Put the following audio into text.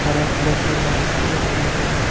हरा कलर का बाल्टी रखा हुआ है।